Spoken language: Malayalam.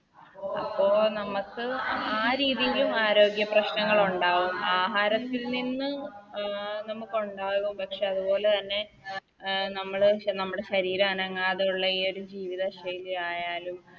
ഓ നമുക്ക് ആ രീതില് ആരോഗ്യ പ്രശ്നങ്ങളുണ്ടാവും ആഹാരത്തിൽ നിന്ന് അഹ് നമുക്കുണ്ടാകും പക്ഷെ അതുപോലെ തന്നെ നമ്മള് നമ്മുടെ ശരീരനങ്ങാതെയുള്ള ഈയൊരു ജീവിത ശൈലി ആയാലും